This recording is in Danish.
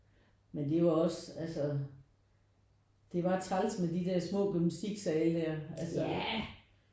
Men det er jo også altså det var træls med de der små gymnastisksale der altså